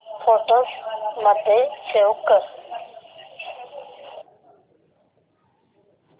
photos मध्ये save कर